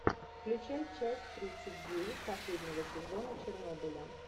включай часть тридцать девять последнего сезона чернобыля